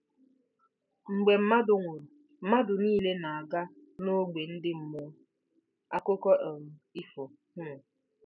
Mgbe mmadụ nwụrụ, mmadụ niile na-aga n'ógbè ndị mmụọ: akụkọ um ifo. um